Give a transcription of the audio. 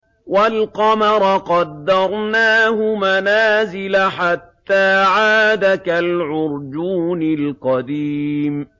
وَالْقَمَرَ قَدَّرْنَاهُ مَنَازِلَ حَتَّىٰ عَادَ كَالْعُرْجُونِ الْقَدِيمِ